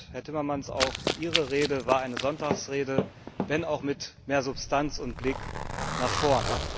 Herr Timmermans, auch Ihre Rede war eine Sonntagsrede, wenn auch mit mehr Substanz und Blick nach vorn.